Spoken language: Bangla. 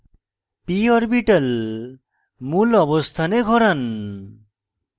p orbital মূল অবস্থানে ঘোরান